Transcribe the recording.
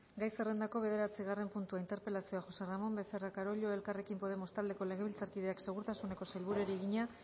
gai zerrendako bederatzigarren puntua interpelazioa josé ramón becerra carollo elkarrekin podemos taldeko legebiltzarkideak segurtasuneko sailburuari egina